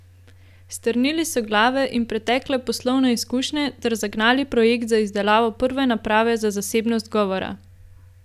Strnili so glave in pretekle poslovne izkušnje ter zagnali projekt za izdelavo prve naprave za zasebnost govora.